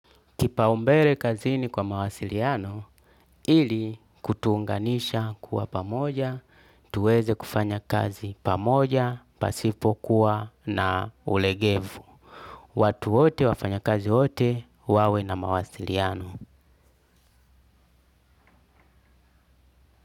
Kipaumbele kazini kwa mawasiliano, ili kutuunganisha kuwa pamoja, tuweze kufanya kazi pamoja, pasipo kuwa na ulegevu. Watu wote wafanya kazi wote, wawe na mawasiliano.